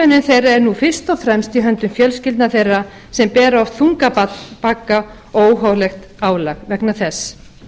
umönnun þeirra er nú fyrst og fremst í höndum fjölskyldna þeirra sem bera oft þunga bagga og óhóflegt álag vegna þess